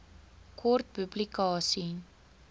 kort publikasie